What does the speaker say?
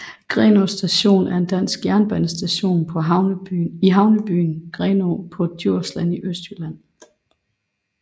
Grenaa Station er en dansk jernbanestation i havnebyen Grenaa på Djursland i Østjylland